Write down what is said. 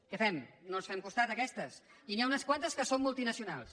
què fem no els fem costat a aquestes i n’hi ha unes quantes que són multinacionals